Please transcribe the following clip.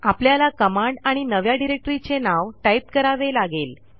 आपल्याला कमांड आणि नव्या डिरेक्टरीचे नाव टाईप करावे लागेल